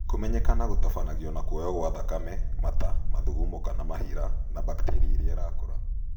Kũmenyekana gũtabanagio na kuoywo gwa thakame ,mata, mathugumo kana mahira na bakteria irĩa irakũra